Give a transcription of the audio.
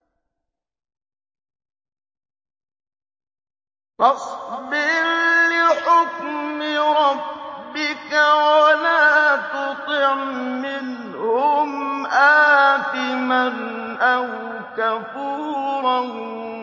فَاصْبِرْ لِحُكْمِ رَبِّكَ وَلَا تُطِعْ مِنْهُمْ آثِمًا أَوْ كَفُورًا